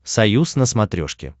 союз на смотрешке